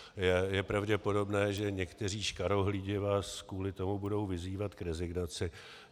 Je pravděpodobné, že někteří škarohlídi vás kvůli tomu budou vyzývat k rezignaci.